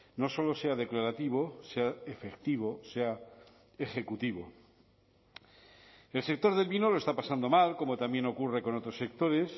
no solo sea declarativo sea efectivo sea ejecutivo el sector del vino lo está pasando mal como también ocurre con otros sectores